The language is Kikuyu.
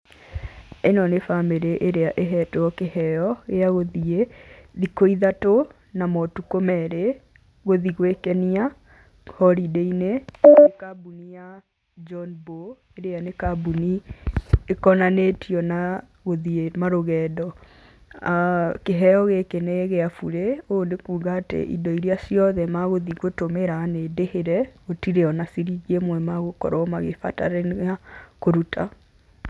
ĩno nĩ bamĩrĩ ĩrĩa ĩhetwo kĩheo gĩa gũthiĩ thikũ ithatũ na motuko merĩ, gũthiĩ gwĩkenia holiday -inĩ na kambuni ya John Bow, ĩrĩa nĩ kambuni ĩkonanĩtio na gũthiĩ marũgendo. aah kĩheo gĩkĩ ni gĩa burĩ, ũũ nĩ kuga atĩ indo irĩa ciothe magũthiĩ gũtũmĩra nĩndĩhĩre, gũtirĩ ona ciringi ĩmwemegũkorwo magĩbatarania kũruta.